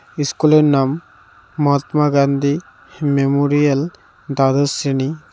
ইস্কুলের নাম মহাত্মা গান্ধী মেমোরিয়াল দ্বাদশ শ্রেণী।